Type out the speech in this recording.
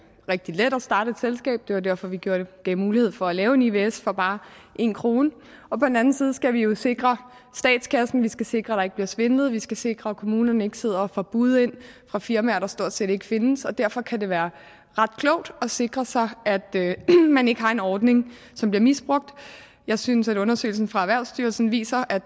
rigtig let at starte et selskab det var derfor vi gav mulighed for at lave et ivs for bare en kroner og på den anden side skal vi jo sikre statskassen vi skal sikre at der ikke bliver svindlet vi skal sikre at kommunerne ikke sidder og får bud ind fra firmaer der stort set ikke findes derfor kan det være ret klogt at sikre sig at man ikke har en ordning som bliver misbrugt jeg synes at undersøgelsen fra erhvervsstyrelsen viser at